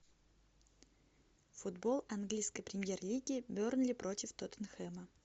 футбол английской премьер лиги бернли против тоттенхэма